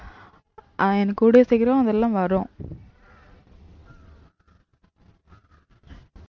அஹ் எனக்கு கூடிய சீக்கிரம் அதெல்லாம் வரும்